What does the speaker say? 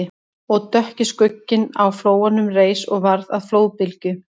Og dökki skugginn á flóanum reis og varð að flóðbylgju